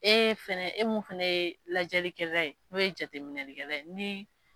E fɛnɛ e mun fɛnɛ ye lajɛlikɛla ye n'o ye jateminɛlikɛla ye